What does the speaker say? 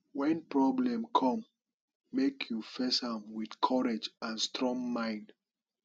wen problem come make you face am with courage and strong mind